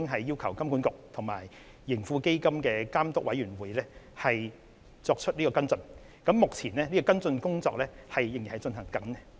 就此，我們已經要求金管局及盈富基金監督委員會作出跟進，而目前這項工作仍在進行中。